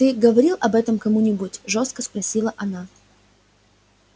ты говорил об этом кому-нибудь жёстко спросила она